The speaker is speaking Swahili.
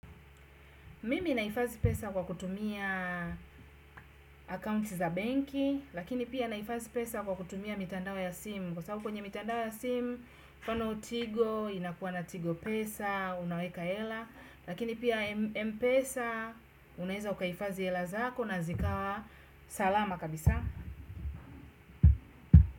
Mimi nahifadhi pesa kwa kutumia accounts za benki, lakini pia nahifadhi pesa kwa kutumia mitandao ya simu. Kwa sababu kwenye mitandao ya simu, mfano tigo, inakuwa na tigo pesa, unaweka hela, lakini pia mpesa, unaeza ukahifadhi hela zako na zikawa salama kabisa.